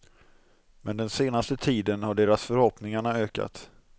Men den senaste tiden har deras förhoppningarna ökat.